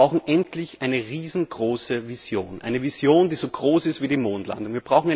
Wir brauchen endlich eine riesengroße Vision, eine Vision, die so groß ist wie die Mondlandung.